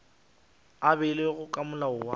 a beilwego ke molao wa